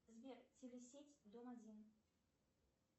сбер телесеть дом один